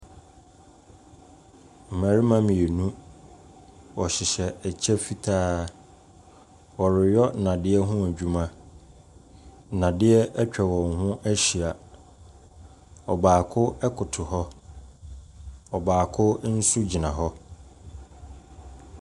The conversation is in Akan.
Mmarima mienu, ɔhyeyhɛ ɛkyɛ fitaa, ɔreyɔ nnadeɛ ho adwuma. Nnadeɛ atwa wɔn ho ahyia, ɔbaako ɛkoto hɔ, ɔbaako nso ɛgyina hɔ.